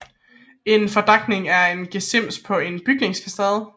En fordakning er en gesims på en bygningsfacade